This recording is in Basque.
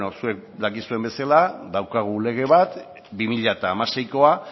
zuek dakizuen bezala daukagu lege bat bi mila hamaseikoa